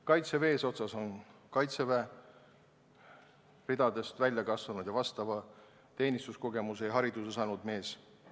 Kaitseväe eesotsas on kaitseväe ridadest välja kasvanud ning vastava teenistuskogemuse ja hariduse saanud mees.